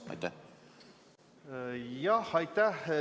Jah, aitäh!